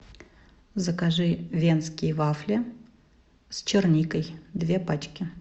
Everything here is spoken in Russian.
закажи венские вафли с черникой две пачки